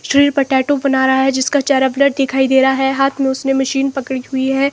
Chilli potato बना रहा है जिसका चेहरा ब्लर दिखाई दे रहा है हाथ में उसने मशीन पकड़ी हुई है।